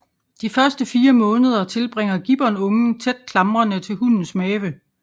De første fire måneder tilbringer gibbonungen tæt klamrende til hunnens mave